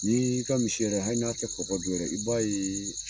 N'i ka misi yɛrɛ hali n'a tɛ kɔkɔ dun yɛrɛ, i b'a ye